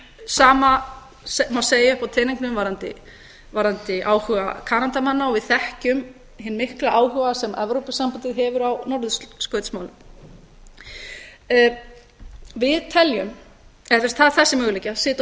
eru sama má segja uppi á teningnum varðandi áhuga kanadamanna við þekkjum hinn mikla áhuga sem evrópusambandið hefur á norðurskautsmálum það er þessi möguleiki að sitja og